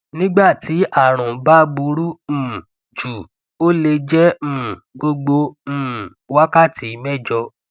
nígbà tí àrùn bá burú um jù ó le jẹ um gbogbo um wákàtí mẹjọ